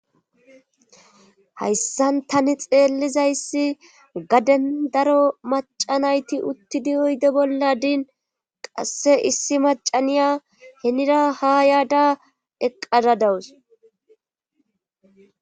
hayssan tani xeellizayssi gaden daro maca nayti uttidi oyde bollan qasse issi macaniya henira ha yaada eqqada dawus